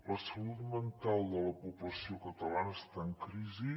la salut mental de la població catalana està en crisi